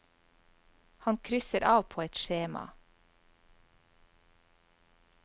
Han krysser av på et skjema.